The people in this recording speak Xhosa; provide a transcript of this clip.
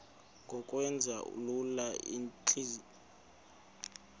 ngokwenza lula iintlawulo